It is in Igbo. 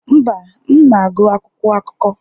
Mba, m na-agụ akwụkwọ akụkọ.